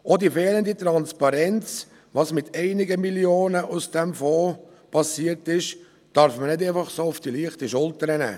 Auch die fehlende Transparenz, was mit einigen Mio. Franken aus diesem Fonds passiert ist, darf man nicht einfach so auf die leichte Schulter nehmen.